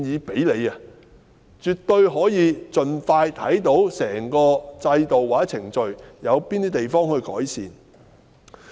這樣絕對可以盡快了解得到整個制度和程序中，有何地方需要作出改善。